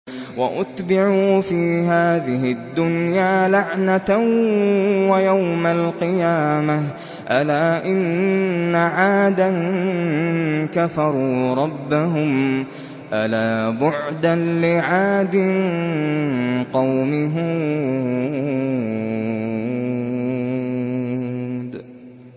وَأُتْبِعُوا فِي هَٰذِهِ الدُّنْيَا لَعْنَةً وَيَوْمَ الْقِيَامَةِ ۗ أَلَا إِنَّ عَادًا كَفَرُوا رَبَّهُمْ ۗ أَلَا بُعْدًا لِّعَادٍ قَوْمِ هُودٍ